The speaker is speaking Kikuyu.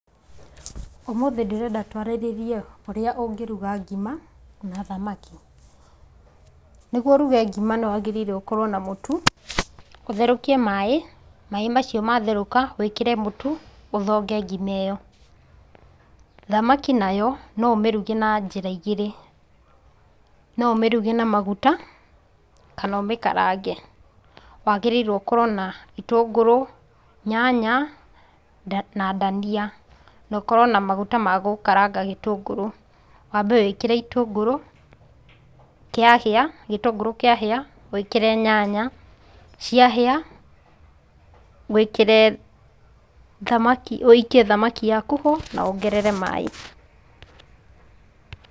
Ũmũthĩ ndĩrenda twarĩrĩrie ũrĩa ũngĩruga ngima, na thamaki. Nĩguo ũruge ngima nĩ wagĩrĩirwo gũkorwo na mũtu. Ũtherũkie maĩ, maĩ mau matherũka wĩkĩre mũtu, ũthonge ngima ĩyo. Thamaki nayo no ũmĩruge na njĩra igĩrĩ. No ũmĩruge na maguta, kana ũmĩkarange. Wagĩrĩirwo ũkorwo na itũngũrũ, nyanya na ndania, na ũkorwo na maguta ma gũkaranga gĩtũngũrũ. Wambe wĩkĩre itũmgũrũ, gĩtũngũrũ kĩahĩa, wĩkĩre nyanya, ciahĩa, wĩkĩre ũikie thamaki yaku-ho, na wongerere maaĩ.